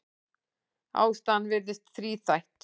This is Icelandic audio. Ástæðan virðist þríþætt.